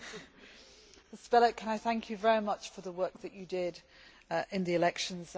Mr Belet, can I thank you very much for the work that you did in the elections.